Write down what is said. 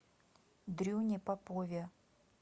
дрюне попове